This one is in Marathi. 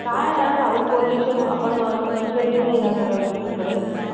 काय आहे हा Sound pollution आपण असं लक्ष देत नाही या सगळ्या गोष्टीकडे